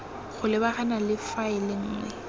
go lebagana le faele nngwe